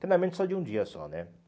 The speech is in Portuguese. Treinamento só de um dia só, né?